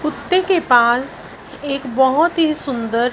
कुत्ते के पास एक बहोत ही सुंदर--